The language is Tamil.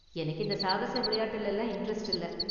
எனக்கு இந்த சாகச விளையாட்டுல எல்லாம் இண்டரெஸ்ட் இல்ல.